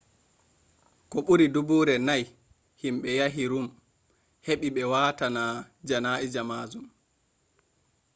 koh buri dubuure nai himbe yahi ruum heba be waatana janaa'ija majum